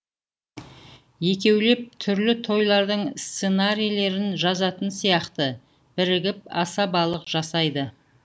екеулеп түрлі тойлардың сценарийлерін жазатын сияқты бірігіп асабалық жасайды